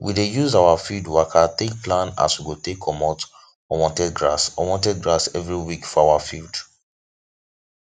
we dey use our field waka take plan as we go take comot unwanted grass unwanted grass every week for our field